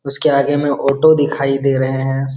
उसके आगे में ऑटो दिखाई दे रहे हैं।